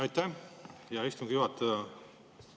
Aitäh, hea istungi juhataja!